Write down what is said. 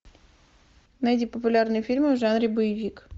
найди популярные фильмы в жанре боевик